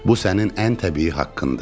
Bu sənin ən təbii haqqındır.